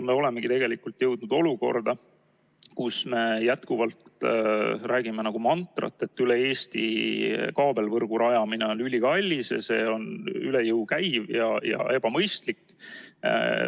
Me olemegi tegelikult jõudnud olukorda, kus me jätkuvalt räägime nagu mantrat, et üle Eesti kaabelvõrgu rajamine on ülikallis, see on üle jõu käiv ja ebamõistlik.